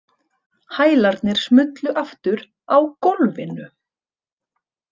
Hælarnir smullu aftur á gólfinu.